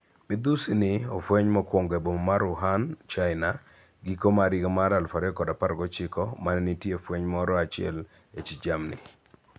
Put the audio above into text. Midhusi ni ofwenye mokwongo e boma mar Wuhan, China, giko mar higa mar 2019, mane nitie fweny moro achiel e chich jamni.